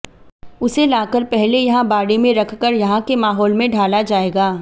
उसे लाकर पहले यहां बाड़े में रखकर यहां के माहाैल में ढाला जाएगा